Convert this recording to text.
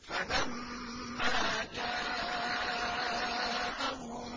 فَلَمَّا جَاءَهُم